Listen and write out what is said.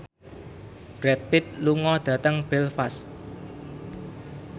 Brad Pitt lunga dhateng Belfast